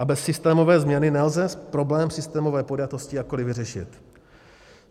A bez systémové změny nelze problém systémové podjatosti jakkoliv vyřešit.